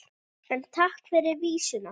En takk fyrir vísuna!